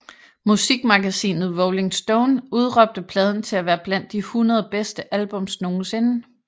Musikmagasinet Rolling Stone udråbte pladen til at være blandt de hundrede bedste albums nogensinde